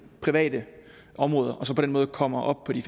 private områder og på den måde kommer op på de